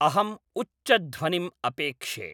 अहम् उच्चध्वनिम् अपेक्षे